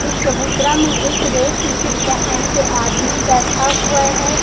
एक चबूतरा में एक रेड टी शर्ट पहन के आदमी बैठा हुआ है।